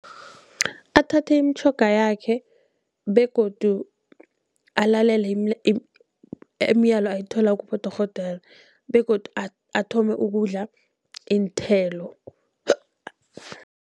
Athathe imitjhoga yakhe begodu alalele imiyalo ayithola kibodorhodere begodu athome ukudla iinthelo.